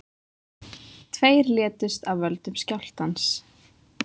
Tveir létust af völdum skjálftans